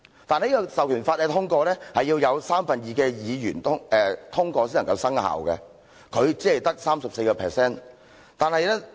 但這項《授權法》需要有三分之二的議員通過才能生效，而他只有 34% 議員的支持。